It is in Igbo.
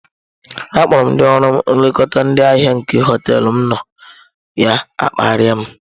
Akpọrọ m ndị ọrụ nlekọta ndị ahịa nke hoteelu m nọ, ya akparịa m.